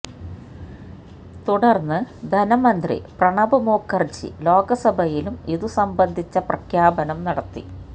തുടര്ന്ന് ധനമന്ത്രി പ്രണബ് മുഖര്ജി ലോക്സഭയിലും ഇതുസംബന്ധിച്ച പ്രഖ്യാപനം നടത്തി